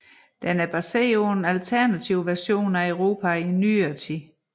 Den er baseret på en alternativ version af Europa i Nyere tid